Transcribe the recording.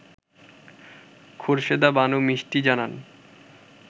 খোরশেদা বানু মিষ্টি জানান